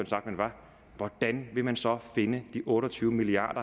sagt man var hvordan vil man så finde de otte og tyve milliard